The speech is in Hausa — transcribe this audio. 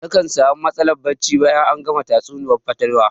Nakan sami matsalar barci bayan an gama tatsuniyar fatalwa